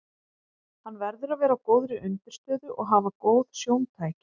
Hann verður að vera á góðri undirstöðu og hafa góð sjóntæki.